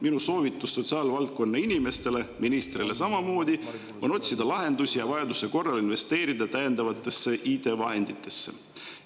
Minu soovitus sotsiaalvaldkonna inimestele, ministrile samamoodi, on otsida lahendusi ja vajaduse korral investeerida täiendavatesse IT-vahenditesse.